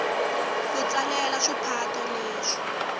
ku tsalela swipato leswi